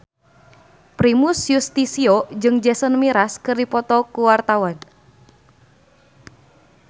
Primus Yustisio jeung Jason Mraz keur dipoto ku wartawan